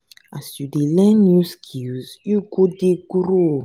as you dey learn new skills you go dey grow.